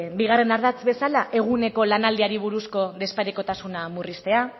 bigarren ardatz bezala eguneko lanaldiari buruzko desparekotasuna murriztea